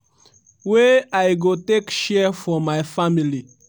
wey i go take share for my family.